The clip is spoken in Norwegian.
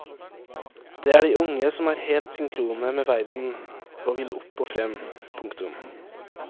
Det er de unge som er helt synkrone med verden og vil opp og frem. punktum